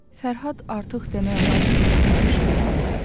Fərhad artıq demək olar ki, bihuş bir halda idi.